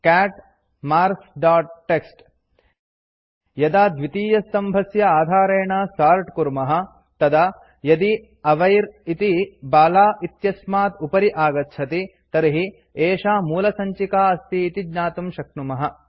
cat marks dot TXT यदा द्वितीयस्तम्भस्य आधारेण सोर्ट् कुर्मः तदा यदि अविर् इति बाला इत्यस्मात् उपरि आगच्छति तर्हि एषा मूलसञ्चिका अस्ति इति ज्ञातुं शक्नुमः